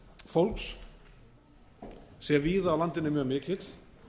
fólks sé víða á landinu mjög mikill